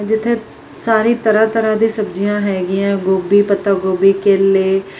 ਇੱਥੇ ਸਾਰੀ ਤਰ੍ਹਾਂ-ਤਰ੍ਹਾਂ ਦੀ ਸਬਜ਼ੀਆਂ ਹੈਗੀਐਂ ਗੋਭੀ ਪੱਤਾ ਗੋਭੀ ਕੇਲੇ --